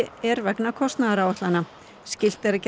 er vegna kostnaðaráætlana skylt er að gera